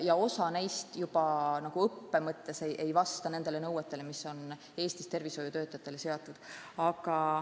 Osa neist ei vasta juba õppenõuetele, mis on Eestis tervishoiutöötajatele seatud.